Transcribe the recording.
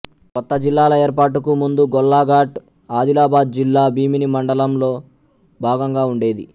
కొత్త జిల్లాల ఏర్పాటుకు ముందు గొల్లాఘాట్ ఆదిలాబాదు జిల్లా భీమిని మండలంలో భాగంగా ఉండేది